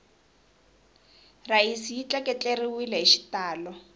rhayisi yi tleketleriwele hi xitalo